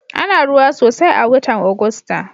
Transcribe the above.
Ana ruwa sosai a watan Ogusta.